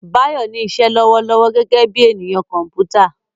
Bayo ní iṣẹ́ lọ́wọ́lọ́wọ́ gẹ́gẹ́ bí ènìyàn kọ̀m̀pútà.